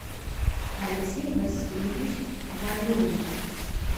алексей васильевич валиулин